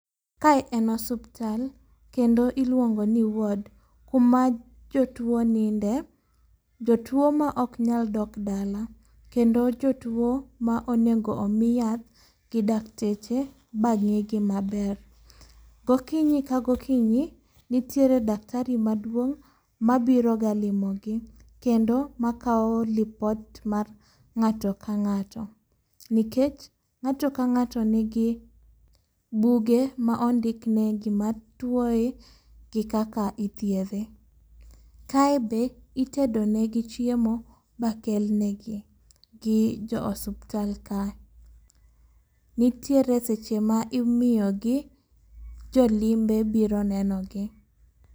Kae en osuptal kendo iluongo ni ward, kuma jotuo ninde. Jotuo ma ok nyal dok dala, kendo jotuo ma onego omi yath gi dakteche ba ng'i gi maber. Gokinyi ka gokinyi, nitiere daktari maduong' ma biro ga limo gi, kendo ma kawo lipot mar ng'ato ka ng'ato. Nikech ng'ato ka ng'ato nigi buge ma ondikne gima tuoye gi kaka ithiedhe. Kae be itedo negi chiemo ba kelnegi gi jo osuptal kae. Nitiere seche ma imiyogi jolimbe biro nenogi.